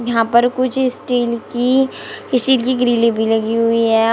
यहां पर कुछ स्टील की किसी की ग्रिलें भी लगी हुई है और--